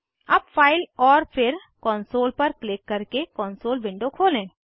अब फाइल और फिर कॉन्सोल पर क्लिक करके कॉन्सोल विंडो खोलें